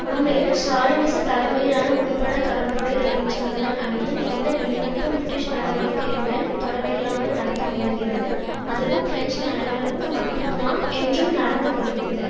உண்மையில் ஸ்ராலினிச தலைமையிலான உட்பட தொடர்புடைய தொழிற்சங்கங்கள் அனைத்தும் எந்த வெளிநடப்பும் பிரிட்டிஷ் நடவடிக்கையுடன் தொடர்பில்லாமல் நடத்த முயல்கிறது அதுவும் பிரெஞ்சு நலன்களுக்கு மட்டும்தான் என்றும் நடந்து கொள்கிறது